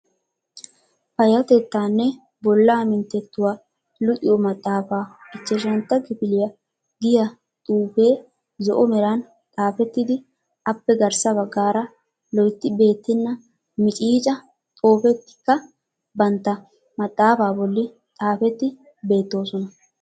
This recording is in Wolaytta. Payattettaanne Bollaa Minttettuwa luxiyo maxaafa ichchashshanta kifiliya giyaa xuufee zo"o meran xaafettidi appe garssa baggaara loytti beettenna micciica xoofetikka bootta maxaafa bollan xaafeti beettoosona.